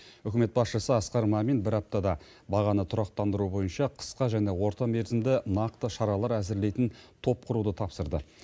үкімет басшысы асқар мамин бір аптада бағаны тұрақтандыру бойынша қысқа және орта мерзімді нақты шаралар әзірлейтін топ құруды тапсырды